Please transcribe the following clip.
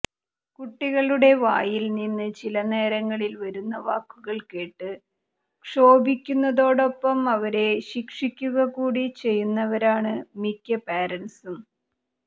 കുട്ടികളുടെ വായിൽ നിന്ന് ചില നേരങ്ങളിൽ വരുന്ന വാക്കുകൾ കേട്ട് ക്ഷോഭിക്കുന്നതോടൊപ്പം അവരെ ശിക്ഷിക്കുക കൂടി ചെയ്യുന്നവരാണ് മിക്ക പാരന്റ്സും